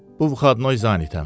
Bu vuxadnoy zanitəm.